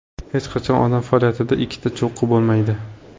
Hech qachon odam faoliyatida ikkita cho‘qqi bo‘lmaydi.